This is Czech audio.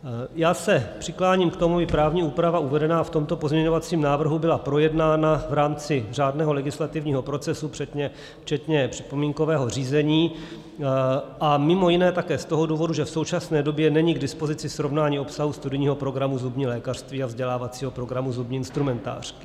Já se přikláním k tomu, aby právní úprava uvedená v tomto pozměňovacím návrhu byla projednána v rámci řádného legislativního procesu včetně připomínkového řízení a mimo jiné také z toho důvodu, že v současné době není k dispozici srovnání obsahu studijního programu zubní lékařství a vzdělávacího programu zubní instrumentářky.